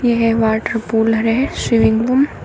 यह water pool है swimming पू--